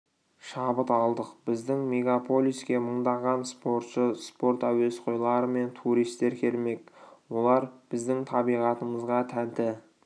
шабыт алдық біздің мегаполиске мыңдаған спортшы спорт әуесқойлары мен туристер келмек олар біздің табиғатымызға тәнті